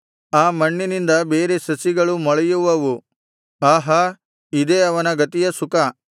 ಆ ಮಣ್ಣಿನಿಂದ ಬೇರೆ ಸಸಿಗಳು ಮೊಳೆಯುವವು ಆಹಾ ಇದೇ ಅವನ ಗತಿಯ ಸುಖ